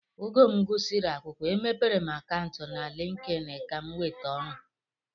Oge m gụsịrị akwụkwọ e mepere akantu na LinkedIn Kam nweta ọrụ.